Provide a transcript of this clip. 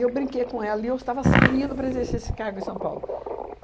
E eu brinquei com ela e eu estava saindo para exercer esse cargo em São Paulo.